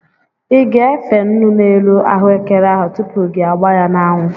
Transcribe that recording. I ga-efe nnu n'elu ahụekere ahụ tupu gi agbaa ya n'anwụ?